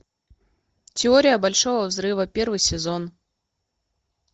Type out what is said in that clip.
теория большого взрыва первый сезон